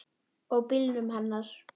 Og bílnum hennar.